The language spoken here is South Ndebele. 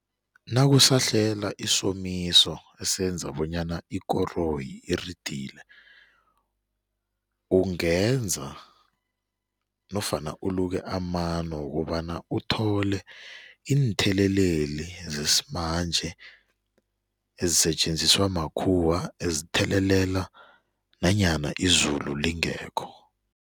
Nakusahlela isomiso esenza bonyana ikoroyi iridile, ungenza nofana uluke amano wokobana uthole iintheleleli zesimanje ezisetjenziswa makhuwa, ezithelelela nanyana izulu lingekho.